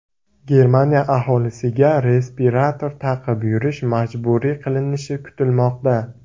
Germaniya aholisiga respirator taqib yurish majburiy qilinishi kutilmoqda.